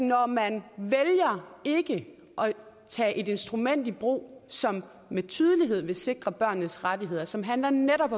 når man vælger ikke at tage et instrument i brug som med tydelighed vil sikre børnenes rettigheder og som handler om netop